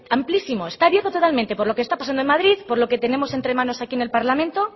amplísimo está abierto totalmente por lo que está pasando en madrid por lo que tenemos entre manos aquí en el parlamento